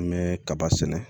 An bɛ kaba sɛnɛ